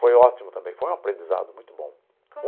Foi ótimo também, foi um aprendizado muito bom.